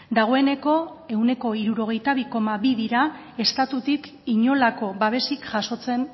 dagoeneko ehuneko hirurogeita bi koma bi dira estatutik inolako babesik jasotzen